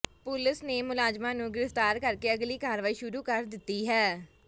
ਪੁਲਸ ਨੇ ਮੁਲਜ਼ਮਾਂ ਨੂੰ ਗ੍ਰਿਫਤਾਰ ਕਰਕੇ ਅਗਲੀ ਕਾਰਵਾਈ ਸ਼ੁਰੂ ਕਰ ਦਿੱਤੀ ਹੈ